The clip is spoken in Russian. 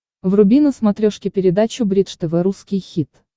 вруби на смотрешке передачу бридж тв русский хит